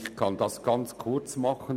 Ich kann essehr kurz machen: